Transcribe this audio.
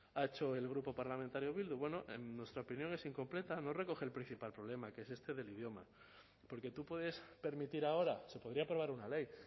ha hecho el grupo parlamentario bildu bueno en nuestra opinión es incompleta no recoge el principal problema que es este del idioma porque tú puedes permitir ahora se podría aprobar una ley